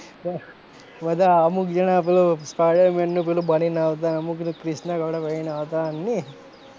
બધા અમુક જણા પેલો spider-man નું પેલું બનીને આવતા અમુક ક્રીશના કપડા પહેરીને આવતા ને,